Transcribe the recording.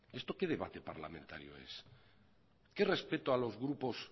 esto qué debate parlamentario es qué respeto a los grupos